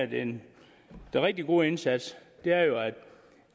den rigtig gode indsats